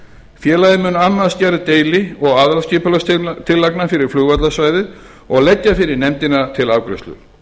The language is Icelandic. félagið mun annast gerð deili og aðalskipulagstillagna fyrir flugvallarsvæðið og leggja fyrir nefndina til afgreiðslu